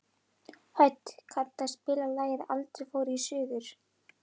Hödd, kanntu að spila lagið „Aldrei fór ég suður“?